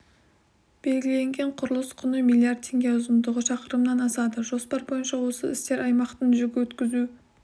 белгіленген құрылыс құны миллиард теңге ұзындығы шақырымнан асады жоспар бойынша осы істер аймақтың жүк өткізу